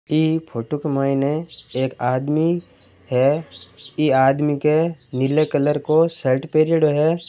ऐ photo में एक आदमी है ऐ आदमी के नीला कलर को शर्ट पेरियोडो है।